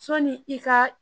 Sɔni i ka